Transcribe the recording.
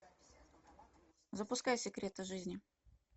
запускай секреты жизни